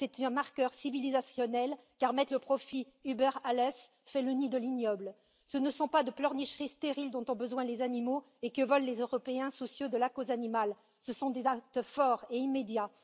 c'est un marqueur civilisationnel, car placer le profit über alles fait le nid de l'ignoble. Ce ne sont pas de pleurnicheries stériles dont ont besoin les animaux et que veulent les Européens soucieux de la cause animale, ce sont des actes forts et immédiats.